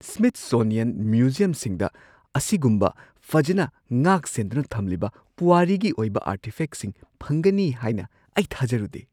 Smithsonian ꯃ꯭ꯌꯨꯖꯤꯌꯝꯁꯤꯡꯗ ꯑꯁꯤꯒꯨꯝꯕ ꯐꯖꯅ ꯉꯥꯛꯁꯦꯟꯗꯨꯅ ꯊꯝꯂꯤꯕ ꯄꯨꯋꯥꯔꯤꯒꯤ ꯑꯣꯏꯕ ꯑꯥꯔꯇꯤꯐꯦꯛꯁꯤꯡ ꯐꯪꯒꯅꯤ ꯍꯥꯏꯅ ꯑꯩ ꯊꯥꯖꯔꯨꯗꯦ꯫